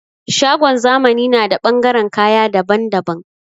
Shagon zamani na da ɓangaren kayan dabban dabban